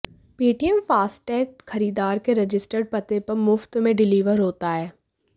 Paytm FASTag खरीदार के registered पते पर मुफ्त में डिलीवर होता है